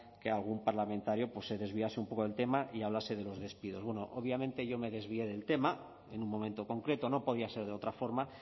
que algún parlamentario se desviase un poco del tema y hablase de los despidos bueno obviamente yo me desvié del tema en un momento concreto no podía ser de otra forma